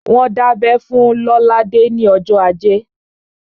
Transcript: Wọ́n dábẹ́ fún Lolade ní ọjọ́ ajé